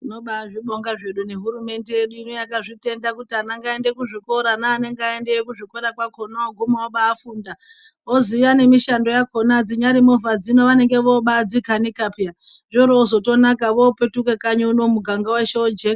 Tinobazvibonga nehurumende yedu yakazvitenda kuti ana ngaaende kuzvikora neanenge aendayo kwakona anoguma afunda voziya nemishando yakona dzinyari movha vanenge vobadzikanika peya .